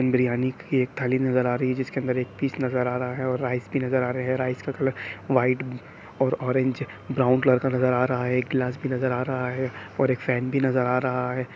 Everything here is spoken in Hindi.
बिरयानी की थाली नजर आ रही है जिसके अंदर एक फीस नजर आ रहा है और राइस भी नजर आ रहे है| राइस का कलर व्हाइट और ऑरेंज ब्राऊन कलर का नजर आ रहा है| एक ग्लास की नजर आ रहा है और एक फैन भी नजर आ रहा है।